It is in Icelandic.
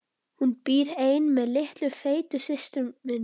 Hún býr ein með litlu feitu systur minni.